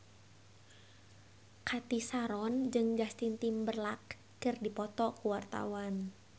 Cathy Sharon jeung Justin Timberlake keur dipoto ku wartawan